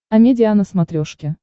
амедиа на смотрешке